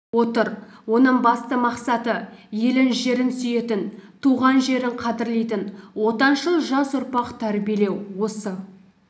отыр оның басты мақсаты елін жерін сүйетін туған жерін қадірлейтін отаншыл жас ұрпақ тәрбиелеу осы